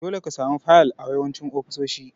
Dole ka samu fayil a yawancin ofisoshi.